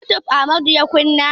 Youtube Amadu ya kunna.